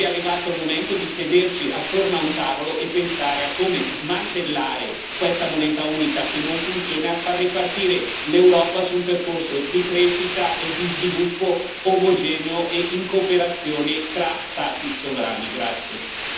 Io credo che sia arrivato il momento di sederci attorno a un tavolo e pensare a come smantellare questa moneta unica, che non funziona, e a far ripartire l'Europa su un percorso di crescita e di sviluppo omogeneo e in cooperazione tra Stati sovrani.